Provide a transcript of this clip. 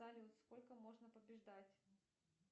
салют сколько можно побеждать